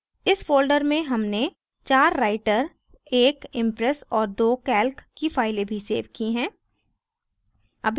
इस folder में हमने 4 writer 1 impress और 2 calc की files भी सेव की हैं